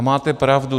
A máte pravdu.